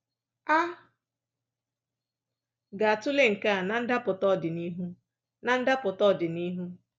A ga-atụle nke a na ndapụta ọdịnihu. na ndapụta ọdịnihu.